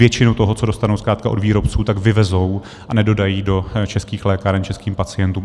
Většinu toho, co dostanou zkrátka od výrobců, tak vyvezou a nedodají do českých lékáren českým pacientům.